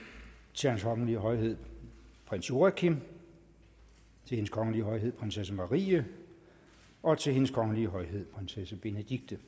til hans kongelige højhed prins joachim til hendes kongelige højhed prinsesse marie og til hendes kongelige højhed prinsesse benedikte